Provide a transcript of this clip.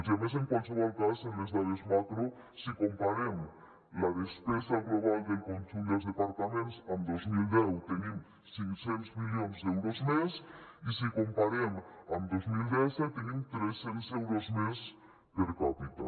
i a més en qualsevol cas en les dades macro si comparem la despesa global del conjunt dels departaments amb dos mil deu tenim cinc cents milions d’euros més i si comparem amb dos mil disset tenim tres cents euros més per capita